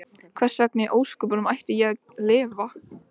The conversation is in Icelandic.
Hversvegna í ósköpunum ætti ég að lifa?